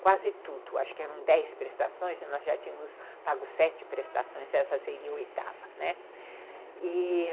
Quase tudo, acho que eram dez prestações e nós já tínhamos pago sete prestações, essa seria a oitava, né, e ...